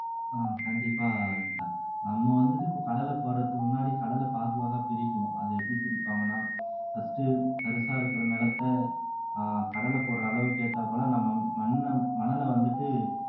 ஆஹ் கண்டிப்பா வினிதா நம்ம வந்துட்டு இப்ப கடலை போடறதுக்கு முன்னாடி கடலை பாகுபாக பிரிக்கணும் அது எப்படி பிரிப்பாங்கன்னா first உ தரிசா இருக்கிற நிலத்தை ஆஹ் கடலை போடுற அளவுக்கு ஏத்தாப்ல நம்ம மண்ண மணல வந்துட்டு